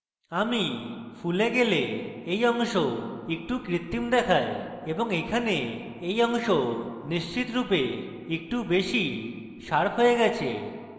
কিন্তু আমি ফুলa গেলে এই অংশ একটু কৃত্রিম দেখায় এবং এখানে এই অংশ নিশ্চিতরূপে একটু বেশী শার্প হয়ে গেছে